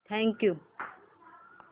thank you